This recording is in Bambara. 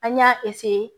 An y'a